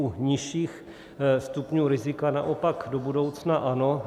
U nižších stupňů rizika naopak do budoucna ano.